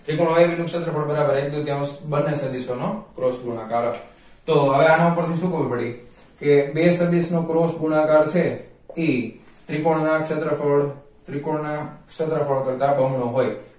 ત્રિકોણ y નું ક્ષેત્રફળ બરાબર એક તૃતીયાંશ બને સદિશો નો cross ગુણાકાર તો હવે આના પરથી શું ખબર પડી કે બે સદિશ નો cross ગુણાકાર છે ઈ ત્રિકોણ ના ક્ષેત્રફળ ત્રિકોણ ક્ષેત્રફળ કરતા બમણો હોઈ